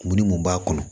Minni mun b'a kɔnɔ